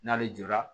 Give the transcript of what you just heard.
N'ale jɔra